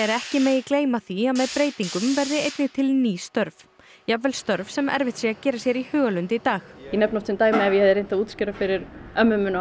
ekki megi gleyma því að með breytingum verði einnig til ný störf jafnvel störf sem erfitt sé að gera sér í hugarlund í dag ég nefni oft sem dæmi ef ég hefði reynt að útskýra fyrir ömmu minni og